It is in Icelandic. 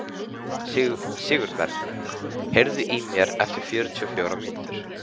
Sigurberg, heyrðu í mér eftir fjörutíu og fjórar mínútur.